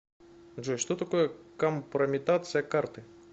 джой что такое компрометация карты